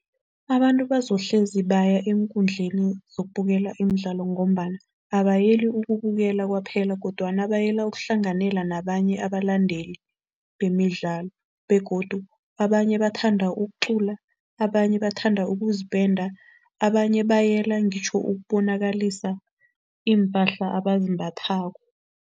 Abantu bazohlezi baya eenkundleni zokubukela imidlalo ngombana abayeli ukubukela kwaphela kodwana bayela ukuhlanganyela nabanye abalandeli bemidlalo begodu abanye bathanda ukucula, abanye bathanda ukuzipenda, abanye bayela ngitjho ukubonakalisa iimpahla abazimbathako.